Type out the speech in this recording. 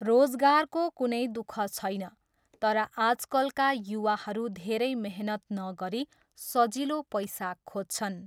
रोजगारको कुनै दुख छैन तर आजकलका युवाहरू धेरै मेहनत नगरी सजिलो पैसा खोज्छन्।